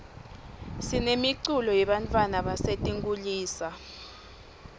sinemiculo yebantfwana basetinkulisa